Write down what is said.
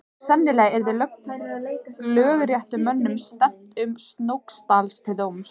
Sennilega yrði lögréttumönnum stefnt að Snóksdal til dóms.